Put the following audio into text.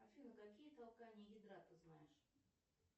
афина какие толкания ядра ты знаешь